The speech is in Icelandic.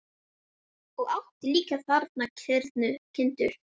Og átti þar líka kindur.